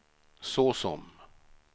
såsom